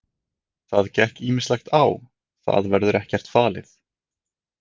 Það gekk ýmislegt á, það verður ekkert falið.